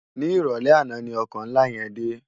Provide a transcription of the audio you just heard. Ni iròlè àná ni òkò nlá yèn dé